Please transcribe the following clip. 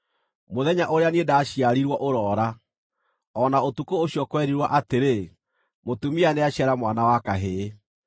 “Mũthenya ũrĩa niĩ ndaciarirwo ũroora, o na ũtukũ ũcio kwerirwo atĩrĩ, ‘Mũtumia nĩaciara mwana wa kahĩĩ!’